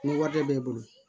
Ni wari bɛ bolo